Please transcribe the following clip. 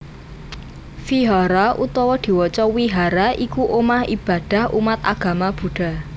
Vihara utawa diwaca Wihara iku omah ibadah umat agama Buddha